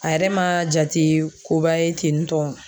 A yɛrɛ ma jate koba ye tentɔ